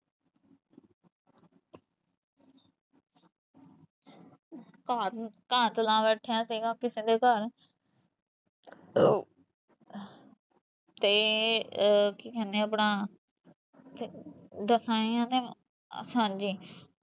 ਘਾਤ ਘਾਤ ਲਾ ਬੈਠਿਆ ਸੀਗਾ ਕਿਸੇ ਦੇ ਘਰ ਤੇ ਕੀ ਕਹਿੰਦੇ ਆਪਣਾ ਘਟ ਲਾ ਬੈਠਾ ਸੀ ਕਿਸੀ ਦੇ ਘਰ ਹਾਂਜੀ